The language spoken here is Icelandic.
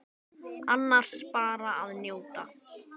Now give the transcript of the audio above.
Annars bara að njóta.